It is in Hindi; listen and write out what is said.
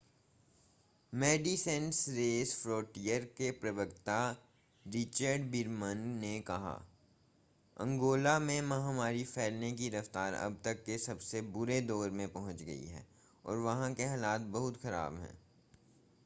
मेडिसिनेस सेंस फ्रोंटियर के प्रवक्ता रिचर्ड वीरमन ने कहा अंगोला में महामारी फैलने की रफ़्तार अब तक के सबसे बुरे दौर में पहुंच गई है और वहां के हालात बहुत खराब हैं